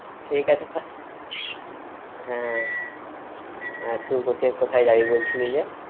ঠিক আছে তাহ~ হ্যাঁ, তুই বলছিলি, কোথায় যাবি বলছিলি যে?